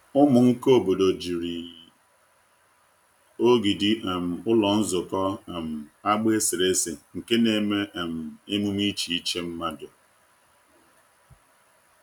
Ụmụ nka obodo jiri ogidi um ụlọ nzukọ um agba eserese nke na-eme um emume iche iche mmadụ.